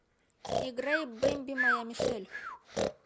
играй бемби моя мишель